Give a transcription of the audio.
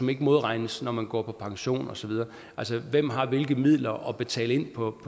ikke modregnes når man går på pension og så videre altså hvem har hvilke midler at betale ind på